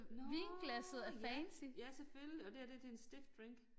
Nåh ja ja selvfølgelig og det her det til en stiff drink